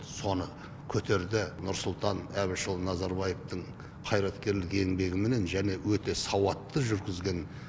соны көтерді нұрсұлтан әбішұлы назарбаевтың қайраткерлік еңбегіменен және өте сауатты жүргізген